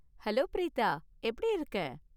Hello Preetha. எப்படி இருக்க?